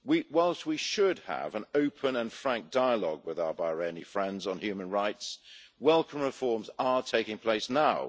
Whilst we should have an open and frank dialogue with our Bahraini friends on human rights, welcome reforms are taking place now.